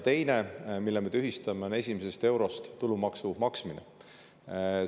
Teine asi, mille me tühistame, on tulumaksu maksmine esimesest eurost.